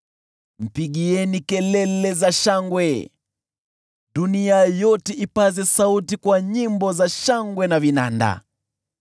Mpigieni Bwana kelele za shangwe, dunia yote, ipaze sauti kwa nyimbo za shangwe na vinanda;